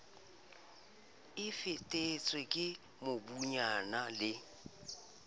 e fifetse ke mobunyana le